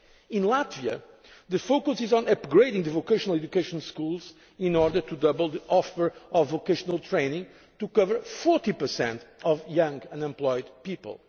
created. In Latvia the focus is on upgrading vocational education schools in order to double the supply of vocational training to cover 40 of young unemployed